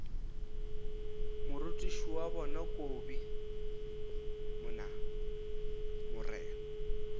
morutiši wa bona kobi mna